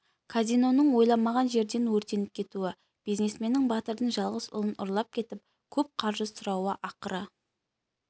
казиноның ойламаған жерден өртеніп кетуі бизнесменнің батырдың жалғыз ұлын ұрлап кетіп көп қаржы сұрауы ақыры